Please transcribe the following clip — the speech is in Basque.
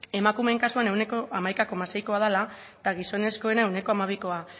emakumeen kasuan ehuneko hamaika koma seikoa dela eta gizonezkoena ehuneko hamabikoa